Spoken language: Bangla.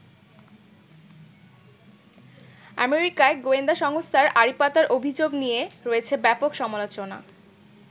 আমেরিকায়ও গোয়েন্দা সংস্থার আড়িপাতার অভিযোগ নিয়ে রয়েছে ব্যাপক সমালোচনা।